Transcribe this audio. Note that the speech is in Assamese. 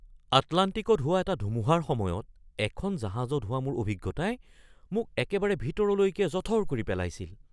আটলাণ্টিকত হোৱা এটা ধুমুহাৰ সময়ত এখন জাহাজত হোৱা মোৰ অভিজ্ঞতাই মোক একেবাৰে ভিতৰলৈকে জঠৰ কৰি পেলাইছিল!